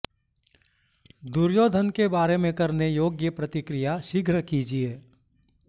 दुर्योधन के बारे में करने योग्य प्रतिक्रिया शीघ्र कीजिए